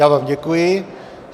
Já vám děkuji.